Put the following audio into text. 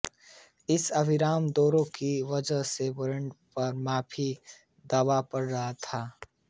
इस अविराम दौरे की वजह से बैंड पर काफी दबाव पड़ रहा था